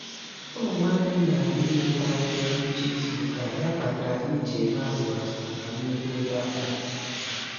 Ụmụ nwanne m na-abịa ileta anyị na ngwụcha izuụka a ya kpatara anyị ji eme atụmatụ maka nnukwu nri abalị.